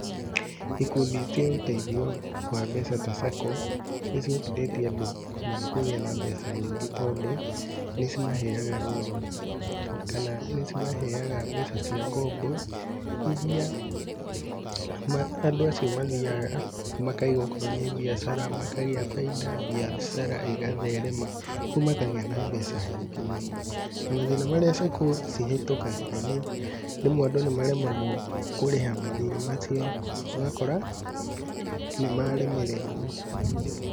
Ikundi cia ũteithio wa mbeca ta SACCO, nĩ cihotithĩtie andũ mũno kũgĩa na mbeca nyingĩ tondũ nĩcimaheaga loan kana nĩ cimaheaga mbeca cia ngombo iria andũ acio mathiaga makaiga okorwo nĩ mbiacara, makaiga bainda, mbiacara ĩgatherema ũgu makagĩa na mbeca nyingĩ mũno. Na mathĩna marĩa SACCO cihĩtũkagĩra nĩ rĩmwe andũ nĩ maremagwo kũrĩha mathiirĩ macio ũgakora nĩ maremererwo.